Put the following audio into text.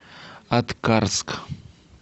аткарск